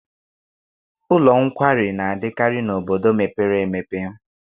Ụlọ nkwari na-adịkarị n'obodo mepere emepe.